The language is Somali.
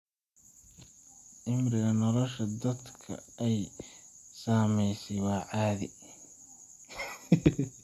Cimriga nolosha dadka ay saamaysay waa caadi.